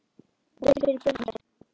Og betur fyrir börnin ykkar.